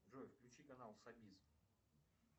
джой включи канал собиз